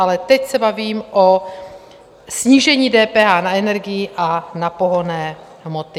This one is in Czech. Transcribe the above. Ale teď se bavím o snížení DPH na energii a na pohonné hmoty.